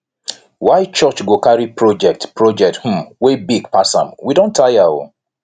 why church go carry project project um wey big pass am we don tire o